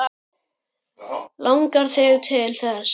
Langar þig til þess?